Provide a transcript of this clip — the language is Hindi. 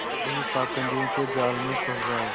खुद ही पाखंडियों के जाल में फँस जाए